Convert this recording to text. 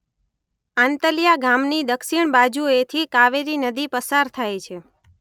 આંતલિયા ગામની દક્ષિણ બાજુએથી કાવેરી નદી પસાર થાય છે.